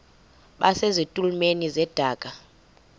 base zitulmeni zedaka